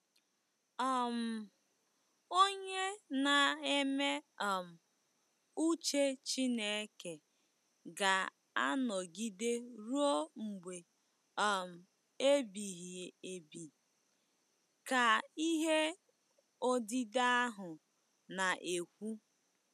um “Onye na-eme um uche Chineke ga-anọgide ruo mgbe um ebighị ebi,” ka ihe odide ahụ na-ekwu.